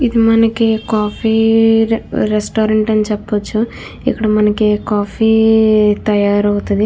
ఇది మనకి coffee restaurant అని చూపొచ్చు ఇక్కడ మనకి కాఫీ తయారు అవుతాది.